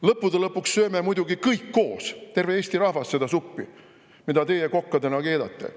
Lõppude lõpuks sööme muidugi kõik koos, terve Eesti rahvas, seda suppi, mida teie kokkadena keedate.